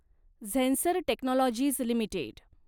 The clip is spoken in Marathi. Zensar technologies limited